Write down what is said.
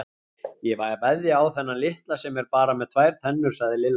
Ég veðja á þennan litla sem er bara með tvær tennur sagði Lilla.